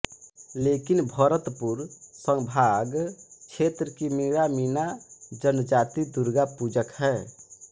लेकिन भरतपुर संभाग क्षेत्र की मीणामीना जनजाति दूर्गापूजक है